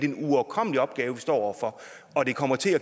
en uoverkommelig opgave vi står over for og det kommer til